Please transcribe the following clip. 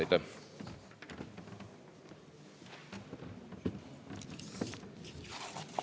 Aitäh!